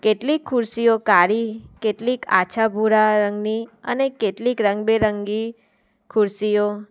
કેટલી ખુરશીઓ કાળી કેટલીક આછા ભૂરા રંગની અને કેટલીક રંગબેરંગી ખુરશીઓ.